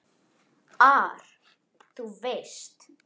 ar, þú veist.